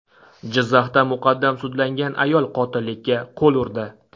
Jizzaxda muqaddam sudlangan ayol qotillikka qo‘l urdi.